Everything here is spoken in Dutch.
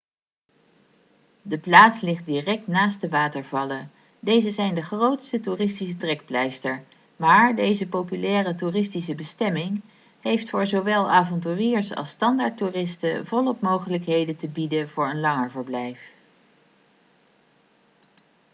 de plaats ligt direct naast de watervallen deze zijn de grootste toeristische trekpleister maar deze populaire toeristische bestemming heeft voor zowel avonturiers als standaardtoeristen volop mogelijkheden te bieden voor een langer verblijf